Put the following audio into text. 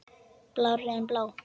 Blárri en blá.